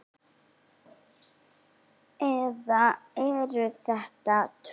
Eða eru þetta tvö?